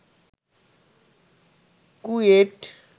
KUET